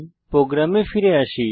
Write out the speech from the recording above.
প্রোগ্রামে ফিরে আসি